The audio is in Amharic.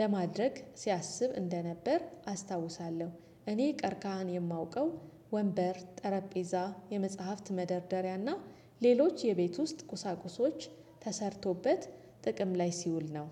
ለማድረግ ሲያስብ እንደነበር አስታውሳለሁ። እኔ ቀርካህን የማውቀው ወንበር ጠረጴዛ የመጽሐፍት መደርደሪያና ሌሎች የቤት ውስጥ ቁሳቁሶች ተሰርቶበት ጥቅም ላይ ሲውል ነው።